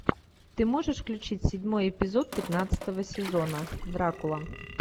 ты можешь включить седьмой эпизод пятнадцатого сезона дракула